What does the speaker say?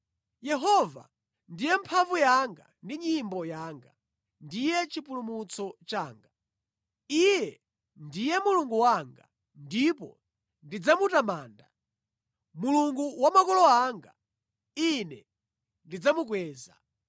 Yehova ndiye mphamvu yanga ndi nyimbo yanga; ndiye chipulumutso changa. Iye ndiye Mulungu wanga, ndipo ndidzamutamanda, Mulungu wa makolo anga, ine ndidzamukweza.